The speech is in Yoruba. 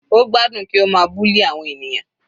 Ó gbádùn kí ó ma bully àwọn ènìyàn.